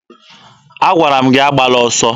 Agwara m gị agbala ọsọ!